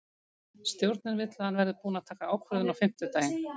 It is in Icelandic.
Stjórnin vill að hann verði búinn að taka ákvörðun á fimmtudaginn.